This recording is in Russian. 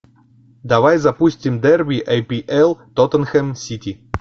давай запустим дерби апл тоттенхэм сити